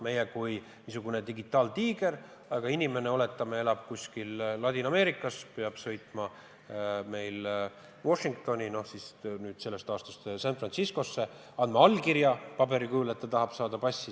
Meie riik on niisugune digitaaltiiger, aga inimene, oletame, elab kuskil Ladina-Ameerikas, ja peab sõitma Washingtoni või sellest aastast San Franciscosse, et anda allkiri paberile, et ta tahab saada passi.